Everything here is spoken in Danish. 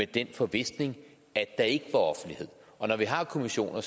den forvisning at der ikke var offentlighed og når vi har kommissioner er